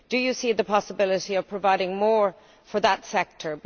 Do you see the possibility of providing more for that sector?